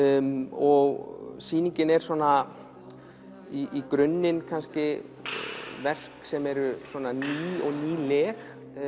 og sýningin er svona í grunninn kannski verk sem eru ný og nýleg